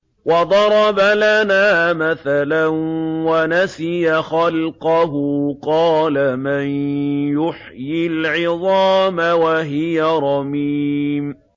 وَضَرَبَ لَنَا مَثَلًا وَنَسِيَ خَلْقَهُ ۖ قَالَ مَن يُحْيِي الْعِظَامَ وَهِيَ رَمِيمٌ